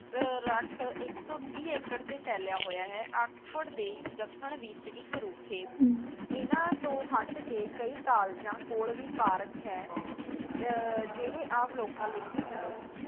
ਅਹ ਰੱਖ ਇੱਕ ਸੌ ਤੀਹ ਏਕੜ 'ਤੇ ਫੈਲਿਆ ਹੋਇਆ ਹੈ, ਆਕਸਫ਼ੋਰਡ ਦੇ ਦੱਖਣ ਵਿੱਚ ਇੱਕ ਰੁੱਖ ਏ। ਇਨ੍ਹਾਂ ਤੋਂ ਹੱਟ ਕੇ ਕਈ ਕਾਲਜਾਂ ਕੋਲ਼ ਵੀ ਪਾਰਕ ਹੈ ਅਹ ਜਿਹੜੇ ਆਮ ਲੋਕਾਂ ਲਈ ਵੀ ਖੁੱਲੇ ਨੇਂ।